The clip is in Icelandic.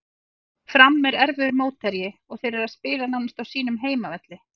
Fram er erfiður mótherji og þeir eru að spila nánast á sínum heimavelli.